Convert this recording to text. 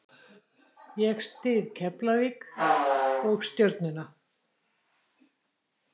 Ég styð Keflavík og Stjörnuna.